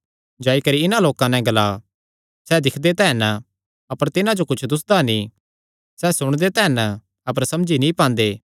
जाई करी इन्हां लोकां नैं ग्ला सैह़ दिक्खदे तां हन अपर तिन्हां कुच्छ दुस्सदा नीं सैह़ सुणदे तां हन अपर समझी नीं पांदे